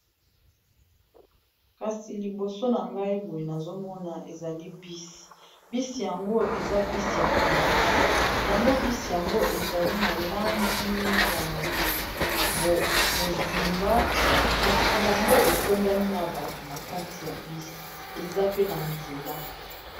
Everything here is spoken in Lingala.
kasi liboso na ngai boyi nazomona ezali bisi bisi yango eza bisi ya polise yango bisi yango ezali na langi ya bozinga kasi yango etondani na bato na kati ya bisi eza pe na nzela